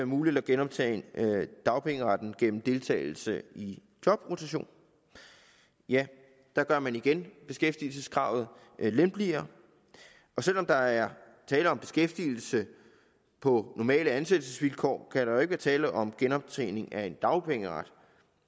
muligt at genoptjene dagpengeretten gennem deltagelse i jobrotation ja der gør man igen beskæftigelseskravet lempeligere og selv om der er tale om beskæftigelse på normale ansættelsesvilkår kan der jo ikke være tale om genoptjening af en dagpengeret